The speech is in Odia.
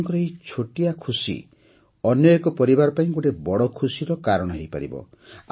ଆପଣଙ୍କର ଏହି ଛୋଟିଆ ଖୁସିଟି ଅନ୍ୟ ଏକ ପରିବାର ପାଇଁ ଗୋଟିଏ ବଡ଼ ଖୁସିର କାରଣ ହୋଇପାରିବ